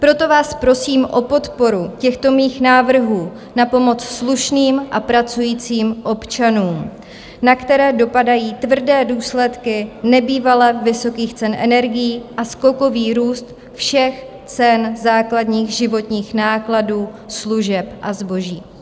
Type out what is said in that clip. Proto vás prosím o podporu těchto mých návrhů na pomoc slušným a pracujícím občanům, na které dopadají tvrdé důsledky nebývale vysokých cen energií a skokový růst všech cen základních životních nákladů, služeb a zboží.